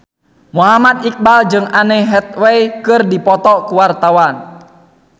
Muhammad Iqbal jeung Anne Hathaway keur dipoto ku wartawan